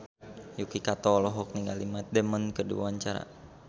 Yuki Kato olohok ningali Matt Damon keur diwawancara